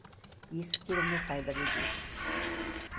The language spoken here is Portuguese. E isso tirou meu pai da bebida.